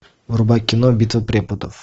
врубай кино битва преподов